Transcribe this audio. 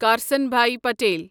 Krishnabhai Patel